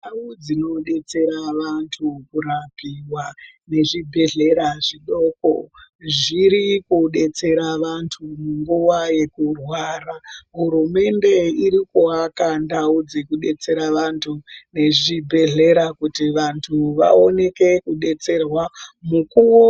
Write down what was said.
Ndau dzinobetsera vantu murapiwa nezvibhedhlera adoo kurapwa, zviri kubetsera vantu munguva yekurwara. Hurumende iri kuaka ndau dzekudetsera vantu nezvibhedhlera kuti vantu vaoneke kudetserwa mukuwo